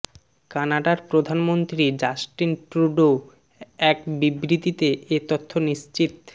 কানাডার প্রধানমন্ত্রী Justin Trudeau এক বিবৃতিতে এ তথ্য নিশ্চিত